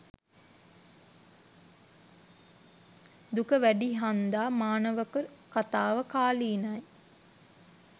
දුක වැඩි හන්දා මානවක කතාව කාලීනයි.